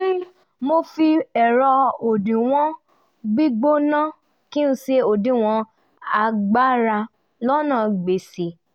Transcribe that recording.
mo fi ẹ̀rọ òdiwọ̀n gbígbóná kí n ṣe òdiwọ̀n agbára lọ́nà gbéṣẹ́